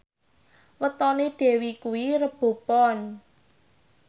wetone Dewi kuwi Rebo Pon